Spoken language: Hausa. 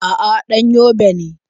A'a, ɗan Yobe ne.